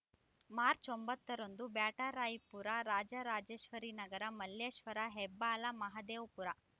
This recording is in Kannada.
ಮಾರ್ಚ್ ಒಂಬತ್ತರಂದು ಬ್ಯಾಟರಾಯಪುರ ರಾಜರಾಜೇಶ್ವರಿನಗರ ಮಲ್ಲೇಶ್ವರ ಹೆಬ್ಬಾಳ ಮಹದೇವಪುರ